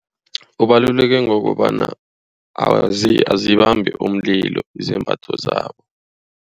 Ubaluleke ngokobana azibambi umlilo izembatho zabo.